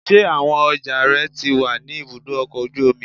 Ṣé àwọn ọjà rẹ ti wà ní ibùdó ọkọ̀ ojú omi?